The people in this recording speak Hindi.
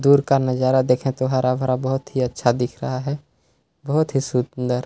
दूर का नजारा देखे तो हरा -भरा बहुत ही अच्छा दिख रहा है बहुत ही सुंदर--